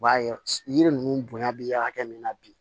U b'a ye yiri ninnu bonya bi hakɛ min na bi